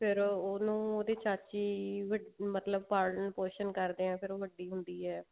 ਫ਼ੇਰ ਉਹਨੂੰ ਉਹਦੀ ਚਾਚੀ ਮਤਲਬ ਪਾਲਣ ਪੋਸ਼ਣ ਕਰਦੇ ਹਾਂ ਫ਼ੇਰ ਉਹ ਵੱਡੀ ਹੁੰਦੀ ਹੈ